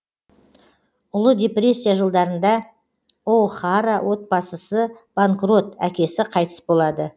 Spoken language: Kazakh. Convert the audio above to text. ұлы депрессия жылдарында о хара отбасысы банкрот әкесі қайтыс болады